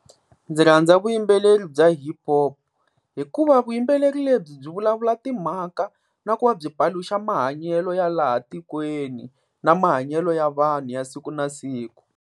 Ndzi rhandza vuyimbeleri bya HipHop, hikuva vuyimbeleri lebyi byi vulavula timhaka na ku va byi paluxa mahanyelo ya laha tikweni na mahanyelo ya vanhu ya siku na siku.